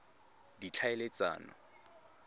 ditlhaeletsano